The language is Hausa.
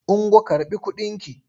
Ungo karɓi kudinki!